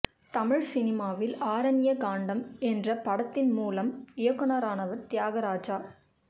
தமிழ் சினிமாவில் ஆரண்ய காண்டம் என்ற படத்தின் மூலம் இயக்குனரானவர் தியாகராஜா